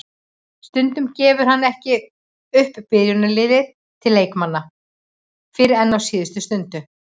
Stundum gefur hann ekki upp byrjunarliðið til leikmanna fyrr en á síðustu stundu.